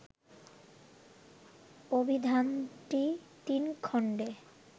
অভিধানটি তিন খণ্ডে